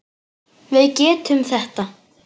Við getum þetta.